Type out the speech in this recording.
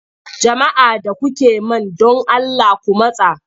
Jama'a da kuke man don Allah ku matsa!